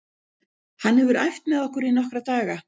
Hann hefur æft með okkur í nokkra daga.